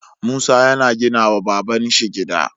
Musa yana gina wa babanshi gida